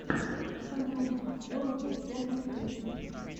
ракомания ворлд оф тэнкс в ютьюбе